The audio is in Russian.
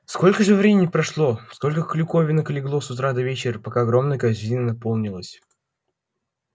сколько же времени прошло сколько клюковинок легло с утра до вечера пока огромная корзина наполнилась